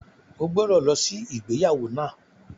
O gbọ́dọ̀ lọ sí ìgbéyàwó náà!